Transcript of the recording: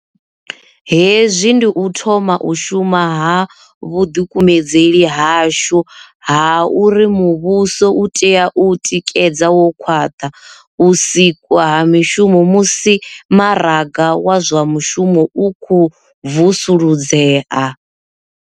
Hezwi ndi u thoma u shuma ha vhuḓikumedzeli hashu ha uri muvhuso u tea u tikedza wo khwaṱha u sikwa ha mishumo musi maraga wa zwa mushumo u khou vusuludzea.